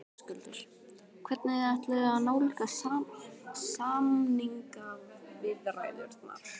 Höskuldur: Hvernig þið ætluðuð að nálgast samningaviðræðurnar?